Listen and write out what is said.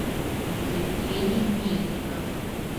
евгений мельников